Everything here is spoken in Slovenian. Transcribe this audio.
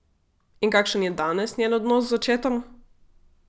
In kakšen je danes njen odnos z očetom?